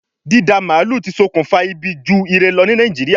Dída màálù ti sokùnfa ibi ju ire lọ ní Nàìjíríà